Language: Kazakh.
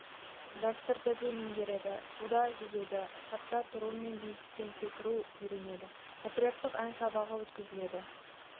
дәстүрді де меңгереді суда жүзуді сапта тұру мен биіктен секіруді үйренеді патриоттық ән сабағы өткізіледі